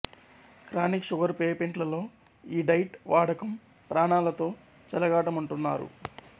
chronic sugar పేపెంట్లలో ఈ diet వాడకం ప్రాణాలతో చెలగాటమంటున్నారు